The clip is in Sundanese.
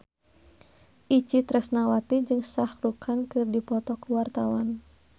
Itje Tresnawati jeung Shah Rukh Khan keur dipoto ku wartawan